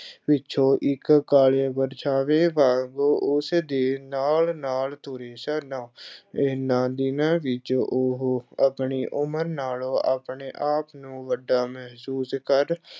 ਪਿੱਛੋਂ ਇੱਕ ਕਾਲੇ ਪਰਛਾਵੇਂ ਵਾਂਗ ਉਸ ਦੇ ਨਾਲ-ਨਾਲ ਤੁਰੇ ਸਨ ਇਹਨਾਂ ਦਿਨਾਂ ਵਿੱਚ ਉਹ ਆਪਣੀ ਉਮਰ ਨਾਲੋਂ ਆਪਣੇ ਆਪ ਨੂੰ ਵੱਡਾ ਮਹਿਸੂਸ ਕਰ